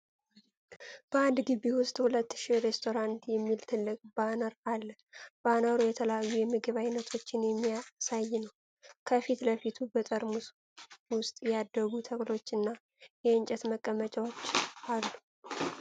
በአንድ ግቢ ውስጥ "ሁለት ሺ ሬስቶራንት" የሚል ትልቅ ባነር አለ። ባነሩ የተለያዩ የምግብ ዓይነቶችን የሚያሳይ ነው፣ ከፊት ለፊቱም በጠርሙስ ውስጥ ያደጉ ተክሎችና የእንጨት መቀመጫዎች አሉ።